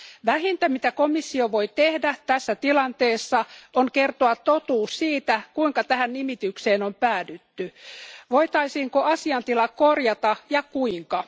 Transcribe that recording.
Vähintä mitä komissio voi tehdä tässä tilanteessa, on kertoa totuus siitä, kuinka tähän nimitykseen on päädytty, voitaisiinko asiantila korjata ja kuinka.